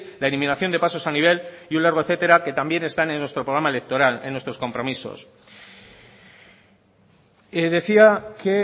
la eliminación de pasos a nivel y un largo etcétera que también están en nuestro programa electoral en nuestros compromisos decía que